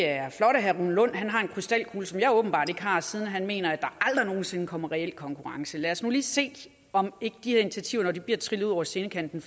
er flot at herre rune lund har en krystalkugle som jeg åbenbart ikke har siden han mener at der aldrig nogen sinde kommer en reel konkurrence lad os nu lige se om ikke de initiativer når de bliver trillet ud over scenekanten